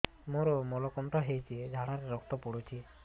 ମୋରୋ ମଳକଣ୍ଟକ ହେଇଚି ଝାଡ଼ାରେ ରକ୍ତ ପଡୁଛି